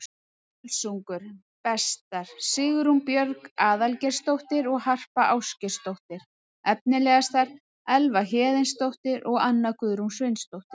Völsungur: Bestar: Sigrún Björg Aðalgeirsdóttir og Harpa Ásgeirsdóttir Efnilegastar: Elva Héðinsdóttir og Anna Guðrún Sveinsdóttir